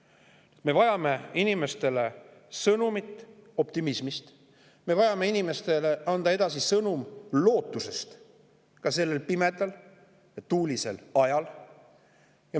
Inimestele on vaja optimistlikku sõnumit, meil tuleb anda inimestele edasi lootust sõnum ka sellel pimedal ja tuulisel ajal.